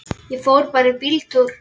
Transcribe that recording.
Ég fór bara í bíltúr.